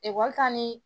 Ekɔlika ni